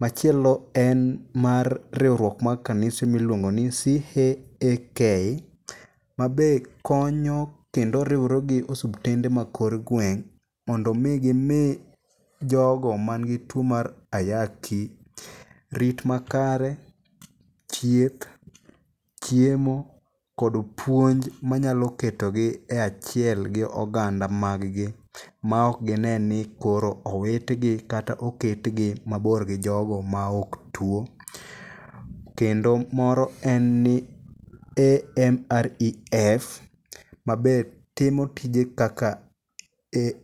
Machielo en mar riwruok mag kanise miluongo ni CHAK ma be konyo kendo riwre gi osiptende ma kor gweng' mondo mi gimi jogo man gi tuo mar ayaki rit makare, thieth, chiemo, kod puonj manyalo ketogi e achiel gi oganda mag gi ma ok gine ni koro owitgi kata oketgi mabor gi jogo ma ok tuo. Kendo moro en ni AMREF mabe timo tije kaka..